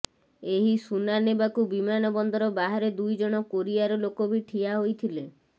ଏହି ସୁନା ନେବାକୁ ବିମାନ ବନ୍ଦର ବାହାରେ ଦୁଇ ଜଣ କୋରିଆର ଲୋକ ବି ଠିଆ ହୋଇଥିଲେ